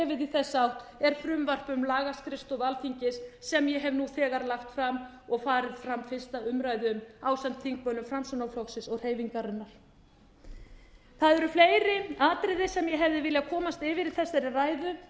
þessa átt er frumvarp um lagaskrifstofu alþingis sem ég hef nú þegar lagt fram og farið fram fyrsta umræða um ásamt þingmönnum framsóknarflokksins og hreyfingarinnar það eru fleiri atriði sem ég hefði viljað komast yfir í þessari ræðu